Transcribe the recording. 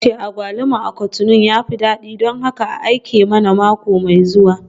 Munirat tace agwaluma a Cotonou ya fi dadi don haka aike mana mako mai zuwa